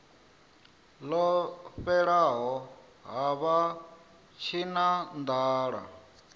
ḽo fhelela ha vha tshinanḓala